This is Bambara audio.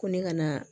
Ko ne ka na